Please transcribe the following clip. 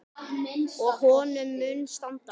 Og honum mun standa.